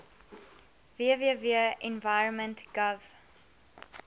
www environment gov